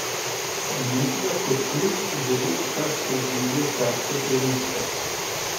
Olimpija kot klub že lep čas preživlja težke trenutke.